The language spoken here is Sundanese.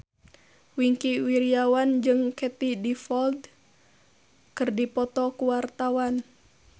Wingky Wiryawan jeung Katie Dippold keur dipoto ku wartawan